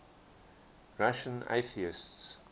russian atheists